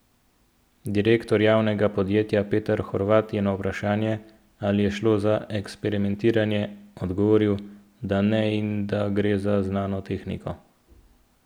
Direktor javnega podjetja Peter Horvat je na vprašanje, ali je šlo za eksperimentiranje, odgovoril, da ne in da gre za znano tehniko.